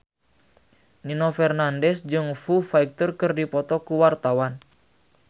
Nino Fernandez jeung Foo Fighter keur dipoto ku wartawan